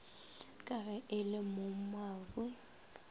ka ge e le mogmabu